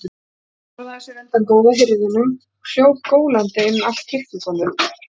Stelpan forðaði sér undan góða hirðinum og hljóp gólandi inn allt kirkjugólfið.